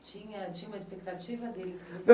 Tinha tinha uma expectativa deles?